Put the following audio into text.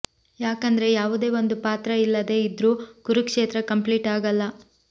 ಯಾಕಂದ್ರೆ ಯಾವುದೇ ಒಂದು ಪಾತ್ರ ಇಲ್ಲದೆ ಇದ್ರು ಕುರುಕ್ಷೇತ್ರ ಕಂಪ್ಲೀಟ್ ಆಗಲ್ಲ